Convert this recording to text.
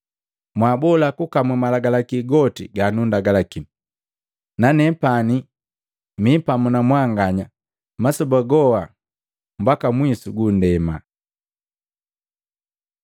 mwaabola kukamu malagalaki goti ganundagalaki. Nanepani mi pamu na mwanganya masoba goha mbaka mwisu gu nndema.”